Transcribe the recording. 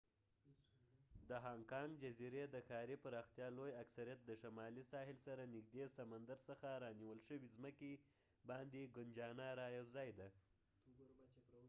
د هانګ کانګ جزیرې د ښاري پراختیا لوی اکثریت د شمالي ساحل سره نږدې سمندر څخه رانیول شوې زمکې باندې ګنجانه رایوځای ده